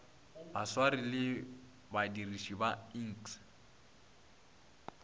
baswari le badiriši ba iks